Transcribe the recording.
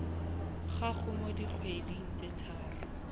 gago mo dikgweding tse tharo